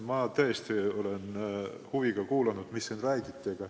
Ma olen tõesti huviga kuulanud, mida siin räägiti.